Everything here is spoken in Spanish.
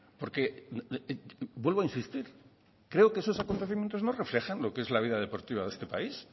porque vuelvo a insistir creo que esos acontecimientos no reflejan lo que es la vida deportiva de este país